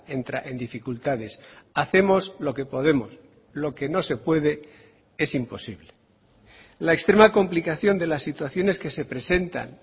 entra en dificultades hacemos lo que podemos lo que no se puede es imposible la extrema complicación de las situaciones que se presentan